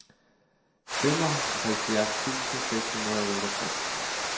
femoghalvfjerds tusind seks hundrede og otteogtres